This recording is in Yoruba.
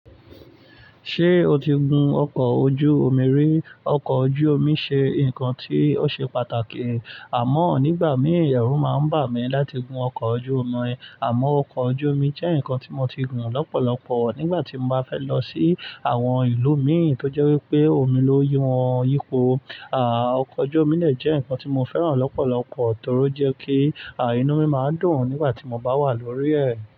Ṣé o ti gun ọkọ̀ ojú omi rí? Ọkọ̀ ojú omi ṣe nǹkan tí ó ṣe pàtàkì, àmọ́ nígbà mí ìyẹ̀rù máa ń bà mí láti gun ọkọ̀ ojú omi. Àmọ́ ọkọ̀ ojú omi jẹ́ nǹkan tí mo ti gùn lọ́pọ̀lọpọ̀ nígbà tí mo bá fẹ́ lọ sí àwọn ìlú miì tó jẹ́ wípé omi ló yí wọn yípo. À, ọkọ̀ ojú omi lè jẹ́ nǹkan tí mo fẹ́ràn lọ́pọ̀lọpọ̀ torí ó jẹ́ kí, à, inú mi máa dùn nígbà tí mo bá wà lórí ẹ̀.